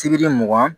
Sibiri mugan